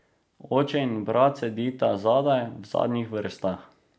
Oče in brat sedita zadaj, v zadnjih vrstah.